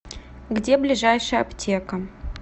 где ближайшая аптека